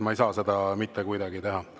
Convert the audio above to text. Ma ei saa seda mitte kuidagi teha.